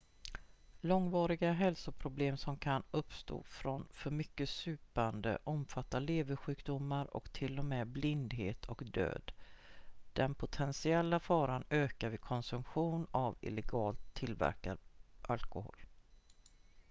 långvariga hälsoproblem som kan uppstå från för mycket supande omfattar leversjukdomar och till och med blindhet och död den potentiella faran ökar vid konsumtion av illegalt tillverkad alkohol